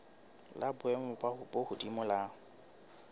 la boemo bo hodimo la